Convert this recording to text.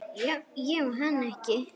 Ég á hana ekki.